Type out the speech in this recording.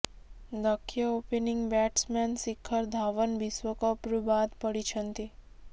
ଦକ୍ଷ opening batsman Shikhar Dhawan ବିଶ୍ୱକପ୍ରୁ ବାଦ୍ ପଡ଼ିଛନ୍ତି